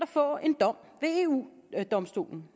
få en dom ved eu domstolen